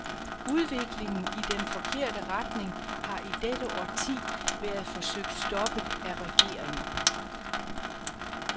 Udviklingen i den forkerte retning har i dette årti været forsøgt stoppet af regeringer.